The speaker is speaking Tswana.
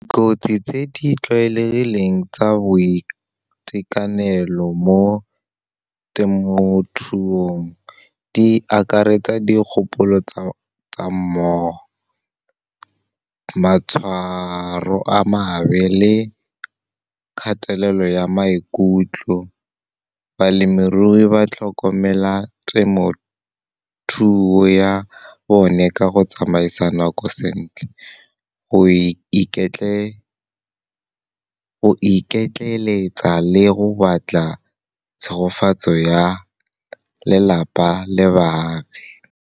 Kotsi tse di tlwaelegileng tsa boitekanelo mo temothuong, di akaretsa dikgopolo tsa mmogo, matshwaro a mabe le kgatelelo ya maikutlo. Balemirui ba tlhokomela temothuo ya bone ka go tsamaisa nako sentle, go iketleletsa le go batla tshegofatso ya lelapa le baagi.